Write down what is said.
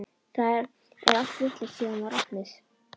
Það er allt vitlaust síðan hún var opnuð.